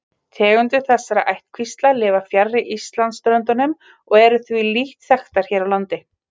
Tegundir þessara ættkvísla lifa fjarri Íslandsströndum og eru því lítt þekktar hér á landi.